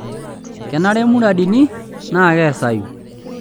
Kenare munaridini naa keesayu.